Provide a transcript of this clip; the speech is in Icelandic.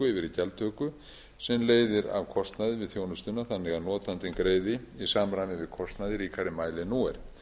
yfir í gjaldtöku sem leiðir af kostnaði við þjónustuna þannig að notandinn greiði í samræmi við kostnað í ríkari mæli en nú er